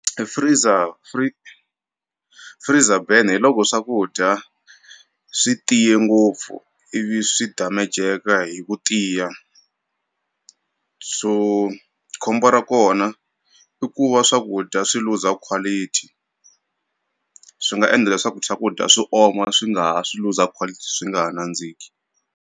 Freezer free freezer burner hi loko swakudya swi tiye ngopfu ivi swi damejeka hi ku tiya, so khombo ra kona i ku va swakudya swi luza quality swi nga endla leswaku swakudya swi oma swi nga ha swi loose quality swi nga ha nandziki.